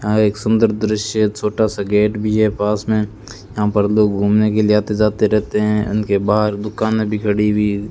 यहां एक सुंदर दृश्य छोटा सा गेट भी है पास में यहां पर लोग घूमने के लिए आते जाते रहते हैं इनके बाहर दुकाने में भी खड़ी हुई --